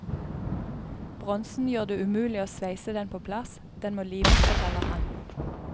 Bronsen gjør det umulig å sveise den på plass, den må limes, forteller han.